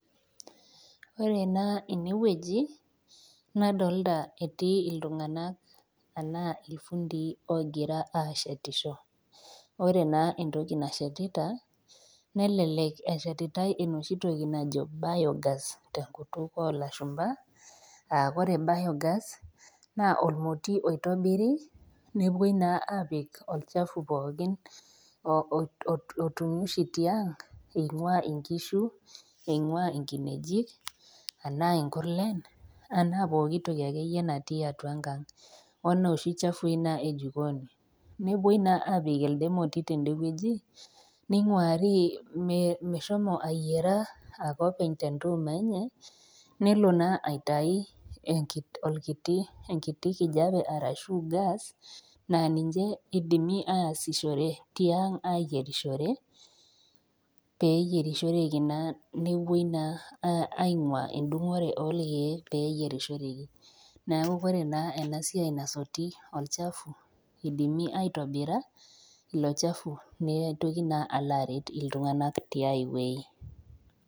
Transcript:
Ore naa ene wueji nadolita etii iltung'ana naa ilfundii oogira aashetisho, ore naa entoki nashetita, nelelek eshetitai enooshi toki naji Biogas tenkutuk o ilashumba, aa ore Biogas naa olmoti oitobiri, nepuoi naa apik olchafu pookin, otumi oshi tiang' einguaa inkishu , einguaa inkinejik, anaa inkurlen anaa poki toki ake iyie naing'ua atua enkang', o nooshi chafui naa e jikooni , nepuoi naa apik elde moti tende wueji, neing'uari meshomo ayiera ake openy te entuuma enye, nelo naa aitayu enkiti kijape arashu gas naa ninye eidimi aasishore tiang ayierisho, pee eyierishoreki naa nepuoi naa aingua endungore oo olkeek pee eyierishoreki, neaku ore naa ena siai nasoti olchafu, eidimi aitobira ilo chafu neitoki naa alo aret iltung'ana te ai wueji.